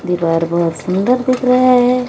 दीवार बहोत सुंदर दिख रहा है।